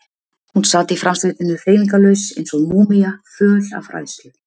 Hún sat í framsætinu hreyfingarlaus eins og múmía, föl af hræðslu.